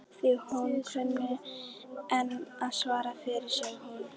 Því hún kunni enn að svara fyrir sig hún